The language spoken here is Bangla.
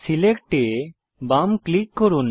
সিলেক্ট এ বাম ক্লিক করুন